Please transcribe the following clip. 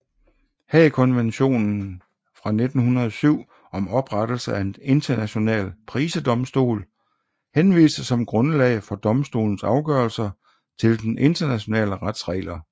Haagkonvention af 1907 om oprettelse af en international prisedomstol henviste som grundlag for domstolens afgørelser til den internationale rets regler